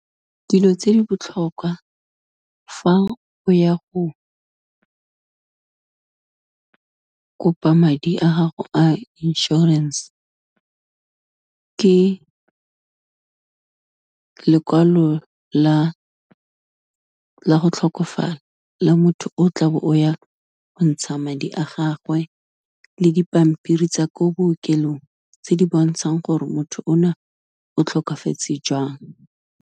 Dilo tse di botlhokwa fa o ya go, kopa madi a gago a insurance-e ke lekwalo la go tlhokofala la motho o tla bo o ya go ntsha madi a gagwe, le dipampiri tsa ko bookelong tse di bontshang gore motho o na o tlhokafetse jang.